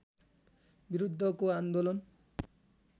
विरुद्धको आन्दोलन